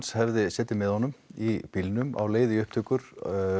hefði setið með honum í bílnum á leið í upptökur